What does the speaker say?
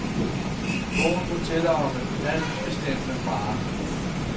Bogen fortæller om en altbestemmende fader.